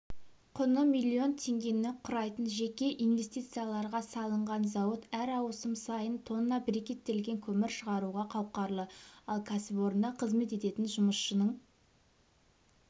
құны миллион теңгені құрайтын жеке инвестицияларға салынған зауыт әр ауысым сайын тонна брикеттелген көмір шығаруға қауқарлы ал кәсіпорында қызмет ететін жұмысшының